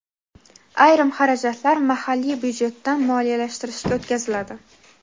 ayrim xarajatlar mahalliy byudjetdan moliyalashtirishga o‘tkaziladi.